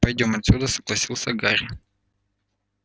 пойдём отсюда согласился гарри